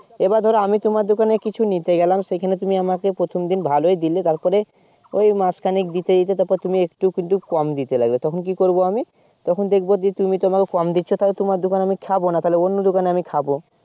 এবার ধরো আমি তোমার দোকানে কিছু নিতে গেলাম সেখানে তুমি আমর প্রথম দিন ভালোই দিলে তার পরে ঐ মাস খানেক দিতে দিতে তুমি একটু একটু কম দিতে লাগলে তখন কি করবো আমি তখন দেখবো যে তুমি আমাকে কম দিচ্ছো তোমার দোকানে খাবো না অন্য দোকানে আমি খাবো